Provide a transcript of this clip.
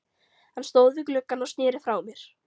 Hann stóð við gluggann og sneri frá mér.